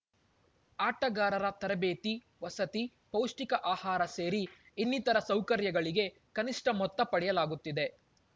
ಆಟಗಾರರ ತರಬೇತಿ ವಸತಿ ಪೌಷ್ಟಿಕ ಆಹಾರ ಸೇರಿ ಇನ್ನಿತರ ಸೌಕರ್ಯಗಳಿಗೆ ಕನಿಷ್ಠ ಮೊತ್ತ ಪಡೆಯಲಾಗುತ್ತಿದೆ